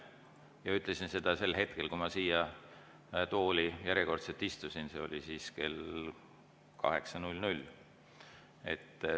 Ma ütlesin seda sel hetkel, kui ma järjekordselt siia tooli istusin, see oli kell 8.00.